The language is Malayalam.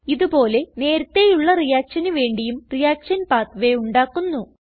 ഇത് പോലെ നേരത്തേയുള്ള reactionന് വേണ്ടിയും റിയാക്ഷൻ പാത്വേ ഉണ്ടാക്കുന്നു